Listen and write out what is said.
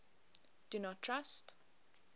do not trust